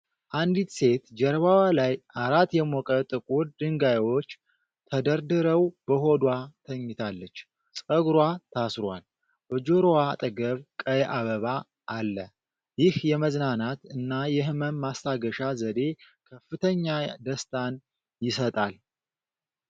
አንዲት ሴት ጀርባዋ ላይ አራት የሞቀ ጥቁር ድንጋዮች ተደርድረው በሆዷ ተኝታለች። ፀጉሯ ታስሯል፣ ከጆሮዋ አጠገብ ቀይ አበባ አለ። ይህ የመዝናናት እና የህመም ማስታገሻ ዘዴ ከፍተኛ ደስታን ይሰጣል።